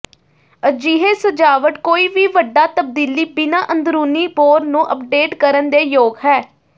ਅਜਿਹੇ ਸਜਾਵਟ ਕੋਈ ਵੀ ਵੱਡਾ ਤਬਦੀਲੀ ਬਿਨਾ ਅੰਦਰੂਨੀ ਬੋਰ ਨੂੰ ਅਪਡੇਟ ਕਰਨ ਦੇ ਯੋਗ ਹੈ